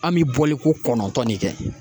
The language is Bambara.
An bɛ bɔli ko kɔnɔntɔn ne kɛ.